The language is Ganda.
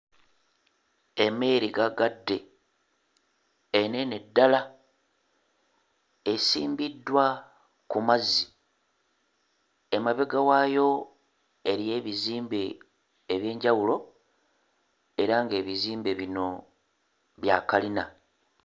Emmeeri ggaggadde ennene ddala esimbiddwa ku mazzi emabega waayo eriyo ebizimbe eby'enjawulo era nga ebizimbe bino bya kalina.